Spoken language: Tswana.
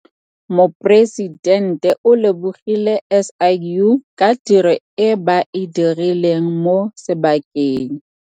Moporesitente o lebogile SIU ka tiro e ba e dirileng mo sebakeng.